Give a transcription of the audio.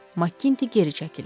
Makkinti geri çəkildi.